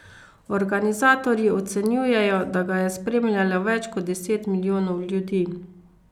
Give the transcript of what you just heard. Organizatorji ocenjujejo, da ga je spremljalo več kot deset milijonov ljudi.